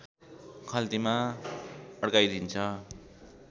खल्तीमा अड्काइदिन्छ